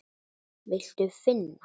Viltu finna?